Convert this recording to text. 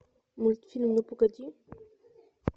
мультфильм ну погоди